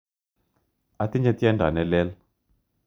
Atinye tyendo ne lel.